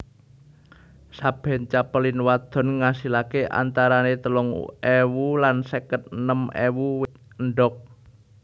Saben capelin wadon ngasilake antarane telung ewu lan seket enem ewu endhok